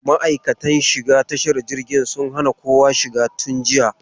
Ma'aikatan shiga tashar jirgin sun hana kowa shiga tun jiya.